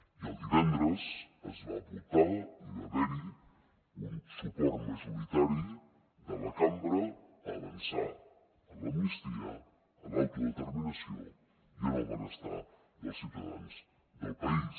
i el divendres es va votar i va haver hi un suport majoritari de la cambra a avançar en l’amnistia en l’autodeterminació i en el benestar dels ciutadans del país